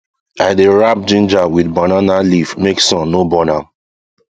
i dey wrap ginger with banana leaf make sun no burn am